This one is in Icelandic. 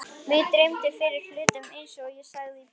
Mig dreymir fyrir hlutum einsog ég sagði þér í bréfinu.